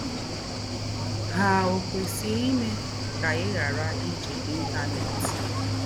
Há o kwesíè ímé kà í ghárà íjì Íntánẹ́t?